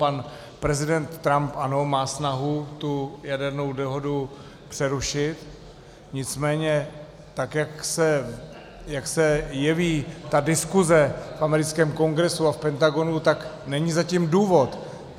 Pan prezident Trump, ano, má snahu tu jadernou dohodu přerušit, nicméně tak jak se jeví ta diskuse v americkém Kongresu a v Pentagonu, tak není zatím důvod.